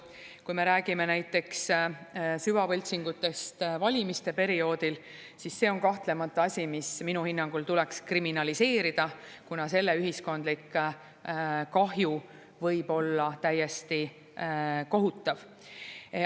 Kui me räägime näiteks süvavõltsingutest valimiste perioodil, siis see on kahtlemata asi, mis minu hinnangul tuleks kriminaliseerida, kuna selle ühiskondlik kahju võib olla täiesti kohutav.